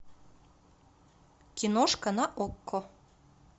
киношка на окко